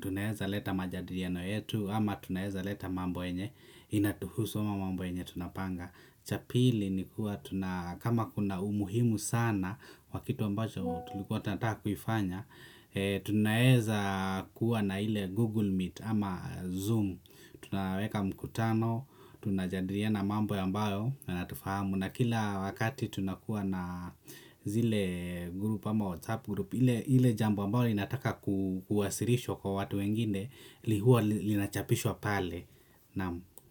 tunaweza leta majadiliano yetu ama tunaweza leta mambo yenye inatuhusu ama mambo yenye tunapanga cha pili ni kuwa tuna kama kuna umuhimu sana wa kitu ambacho tulikuwa tunataka kuifanya. Tunaeza kuwa na ile Google Meet ama Zoom. Tunaweka mkutano, tunajadiliana mambo ambayo yanatufahamu na kila wakati tunakuwa na zile group ama WhatsApp group ile ile jambo ambayo inataka kuwasilishwa kwa watu wengine huwa linachapishwa pale naam.